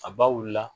A baw la